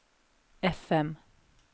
FM